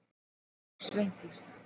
Sveindís